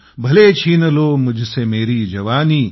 भले छिन लो मुझसे मेरी जवानी